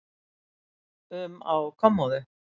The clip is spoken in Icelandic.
um á kommóðu.